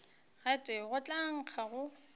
gotee go tla nkga go